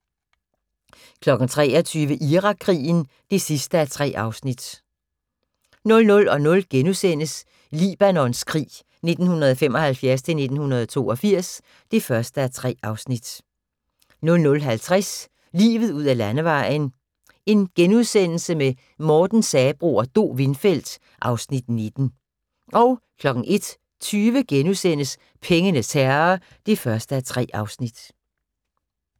23:00: Irakkrigen (3:3) 00:00: Libanons krig 1975-1982 (1:3)* 00:50: Livet ud ad landevejen: Morten Sabroe og Do Windfeldt (Afs. 19)* 01:20: Pengenes herre (1:3)*